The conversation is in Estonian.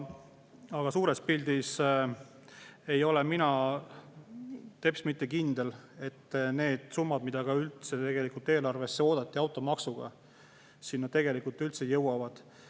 Aga suures pildis ei ole mina teps mitte kindel, et need summad, mida tegelikult eelarvesse oodati, automaksuga sinna tegelikult üldse jõuavad.